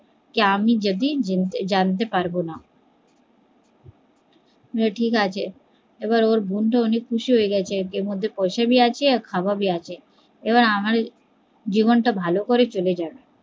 যে আমি যদি জানতে পারবো না যে ঠিকাছে ওর বোন তো অনেক খুশি হয়ে গেছে এর পয়সা ভি আছে খাবার ভি আছে আমার জীবন তা ভালো করে চলে যাবে